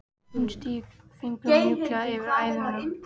Hún strýkur fingrunum mjúklega eftir æðunum.